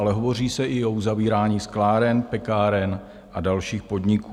Ale hovoří se i o uzavírání skláren, pekáren a dalších podniků.